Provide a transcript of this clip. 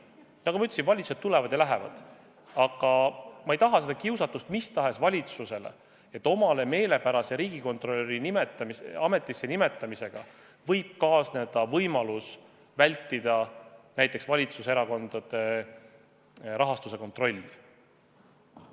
Nagu ma ütlesin, valitsused tulevad ja lähevad, aga ma ei taha seda kiusatust mis tahes valitsusele, et omale meelepärase riigikontrolöri ametisse nimetamisega saada võimalus vältida näiteks valitsuserakondade rahastuse kontrolli.